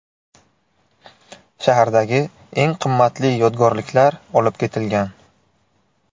Shahardagi eng qimmatli yodgorliklar olib ketilgan.